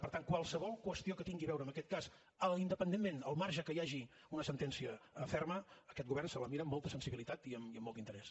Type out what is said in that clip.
per tant qualsevol qüestió que tingui a veure amb aquest cas independentment al marge que hi hagi una sentència ferma aquest govern se la mira amb molta sensibilitat i amb molt d’interès